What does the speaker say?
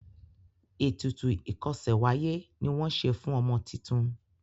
ètùtù ikose w'aye ní wón ṣe fún ọmọ títún.